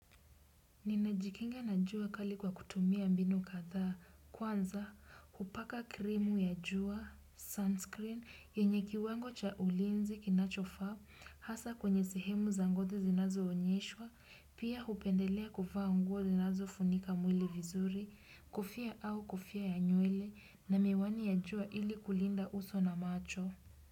Ninajikinga na jua kali kwa kutumia mbinu katha kwanza kupaka krimu ya jua sunscreen yenye kiwango cha ulinzi kinachofa hasa kwenye sehemu za ngozi zinazo onyeshwa pia upendelea kufa nguo zinazo funika mwili vizuri kofia au kofia ya nyuele na miwani ya jua ili kulinda uso na macho.